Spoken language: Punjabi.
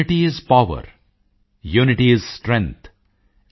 unity is power unity is strength